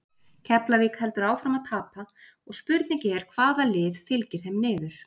Keflavík heldur áfram að tapa og spurning er hvaða lið fylgir þeim niður?